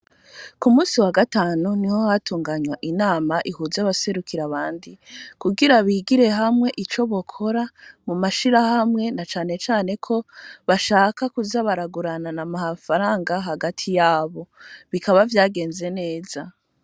Ku munsi wa gatanu, niho hatunganywa inama, ihuza abaserukira abandi, kugira bigire hamwe, ico bokora mu mashirahamwe, na cane cane ko, bashaka kuza baraguranana amafaranga, hagati yabo; bikaba vyagenze neza.